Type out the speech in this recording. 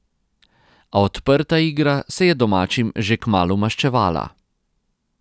A odprta igra se je domačim že kmalu maščevala.